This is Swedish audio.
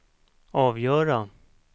avgöra